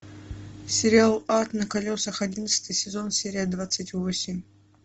сериал ад на колесах одиннадцатый сезон серия двадцать восемь